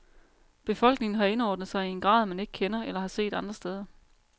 Befolkningen har indordnet sig i en grad, man ikke kender eller har set andre steder.